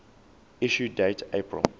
issue date april